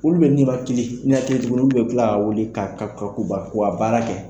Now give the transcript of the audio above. Olu bɛ nimakili ninakili tuguni olu bɛ kila k'a wele ka ka ka k'u baara kɛ.